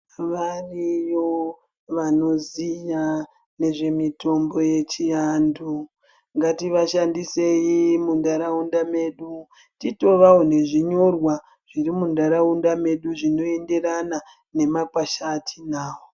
Variyo nezvemitombo yechiantu ngatishandisei munharaunda medu titovawo nezvinyorwa zviri munharaunda medu zvinoenderana nemakwasha atinawo.